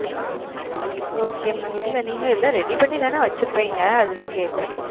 Okay mam இல்ல நீங்க எல்லாம் ready பண்ணி தான வச்சுருபீங்க அதுதான் கேக்குறேன்.